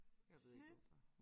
Jeg ved ikke hvorfor